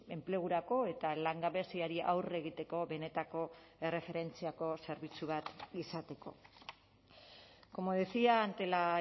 enplegurako eta langabeziari aurre egiteko benetako erreferentziako zerbitzu bat izateko como decía ante la